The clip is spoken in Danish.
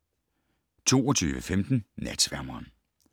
22:15: Natsværmeren